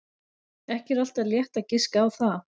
Ekki er alltaf létt að giska á það.